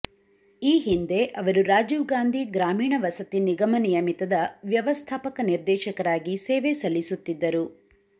ಈ ಹಿಂದೆ ಅವರು ರಾಜೀವ್ ಗಾಂಧಿ ಗ್ರಾಮೀಣ ವಸತಿ ನಿಗಮ ನಿಯಮಿತದ ವ್ಯವಸ್ಥಾಪಕ ನಿರ್ದೇಶಕರಾಗಿ ಸೇವೆ ಸಲ್ಲಿಸುತ್ತಿದ್ದರು